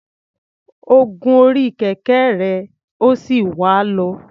Ó gun orí kẹ̀kẹ́ rẹ̀, ó sì wà á lọ.